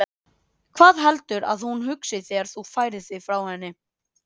Hvað heldurðu að hún hugsi þegar þú færir þig frá henni?